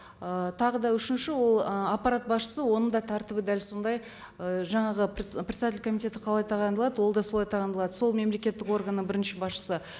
ы тағы да үшінші ол ы аппарат басшысы оның да тәртібі дәл сондай ы жаңағы председатель комитета қалай тағайындалады ол да солай тағайындалады сол мемлекеттік органның бірінші басшысы